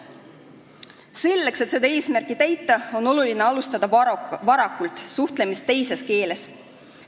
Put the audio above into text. Selleks, et seda eesmärki täita, on oluline alustada varakult suhtlemist teises keeles.